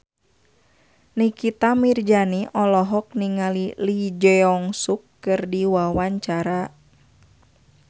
Nikita Mirzani olohok ningali Lee Jeong Suk keur diwawancara